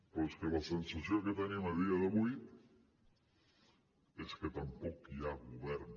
però és que la sensació que tenim a dia d’avui és que tampoc hi ha govern